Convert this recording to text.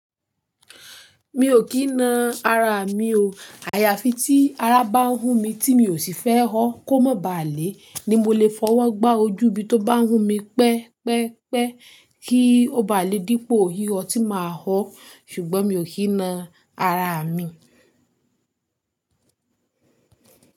Mi ò kí na ara mi o. Àyàfi tí ara bá ń hú mi tí mi ò sì fẹ́ họ́ kó má ba à le, ni mo lè fọwọ́ gbá ojú bí tó bá ń hú mi pẹ́ pẹ́ pẹ́ kí ó ba le dípò ihò tí màá họ́. Ṣùgbọ́n mi ò kí na ara mi.